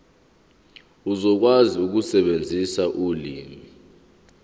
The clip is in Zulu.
uzokwazi ukusebenzisa ulimi